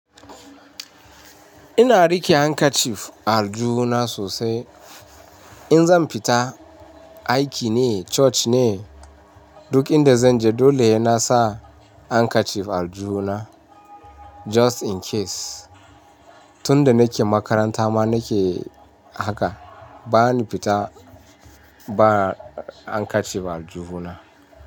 Ina riƙe handkerchief a aljuhuna sosai. In zan fita aiki ne, coci ne, duk inda zan je dole ya nasa handkerchief a aljuhuna just in case. Tun da nake makaranta ma nake haka bana fita ba handkerchief a aljuhuna.